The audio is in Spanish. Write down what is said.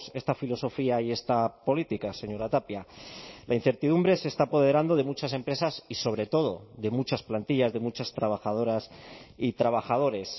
esta filosofía y esta política señora tapia la incertidumbre se está apoderando de muchas empresas y sobre todo de muchas plantillas de muchas trabajadoras y trabajadores